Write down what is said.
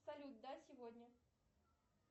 салют да сегодня